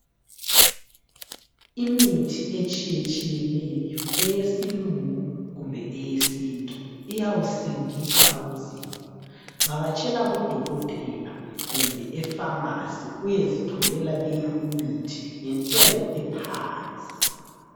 Imithi etshiyetshiyeneyo, eyesilungu kumbe eyesintu iyawusindisa umzimba. Vakatshela kudokotela kumbe epharmacy uyezitholela leyimithi ngentengo ephansi.